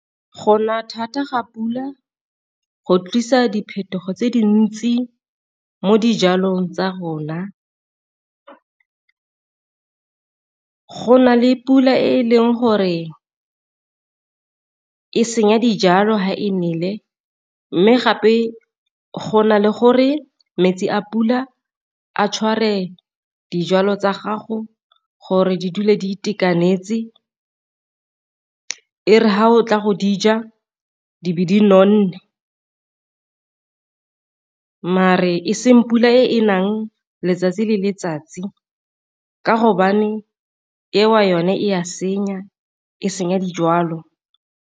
Go na thata ga pula go tlisa diphetogo tse dintsi mo dijalong tsa rona, go na le pula e leng gore e senya dijalo fa e nele mme gape go na le gore metsi a pula a tshware dijalo tsa gago gore di dule di itekanetse e re fa o tla go dija di be di nonne. Mare e seng pula e nang letsatsi le letsatsi ka gobane eo yone e a senya e senya dijalo.